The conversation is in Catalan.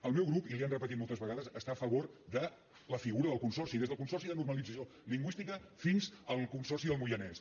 el meu grup i li ho han repetit moltes vegades està a favor de la figura del consorci des del consorci de normalització lingüística fins al consorci del moianès